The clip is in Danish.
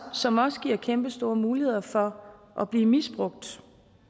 som også giver kæmpestore muligheder for at blive misbrugt